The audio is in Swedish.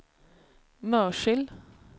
Mörsil